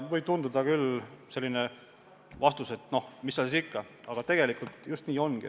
Võib küll tunduda selline vastus, et no mis seal siis ikka, teada asi, aga tegelikult just nii ongi.